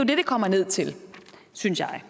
det kommer ned til synes jeg